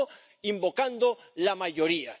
Y todo, invocando la mayoría.